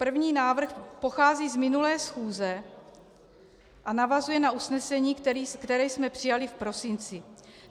První návrh pochází z minulé schůze a navazuje na usnesení, které jsme přijali v prosinci.